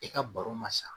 I ka baro ma san